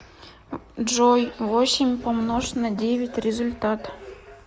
джой восемь помнож на девять результат